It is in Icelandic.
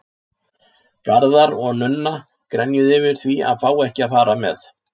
Garðar og Nunna grenjuðu yfir því að fá ekki að fara með.